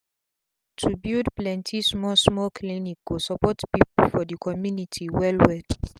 to build plenti small small clinic go support pipu for d community well well